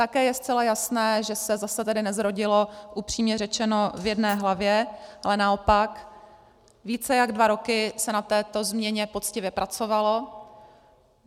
Také je zcela jasné, že se zase tady nezrodilo, upřímně řečeno, v jedné hlavě, ale naopak více než dva roky se na této změně poctivě pracovalo.